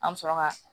An bɛ sɔrɔ ka